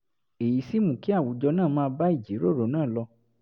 èyí sì mú kí àwùjọ náà máa bá ìjíròrò náà lọ